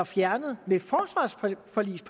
fjernet